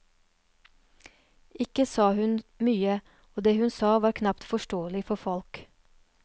Ikke sa hun mye, og det hun sa var knapt forståelig for folk.